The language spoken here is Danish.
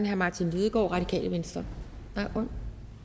herre martin lidegaard radikale venstre der